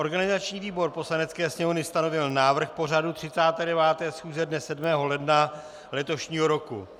Organizační výbor Poslanecké sněmovny stanovil návrh pořadu 39. schůze dne 7. ledna letošního roku.